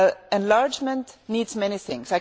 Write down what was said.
Enlargement needs many things.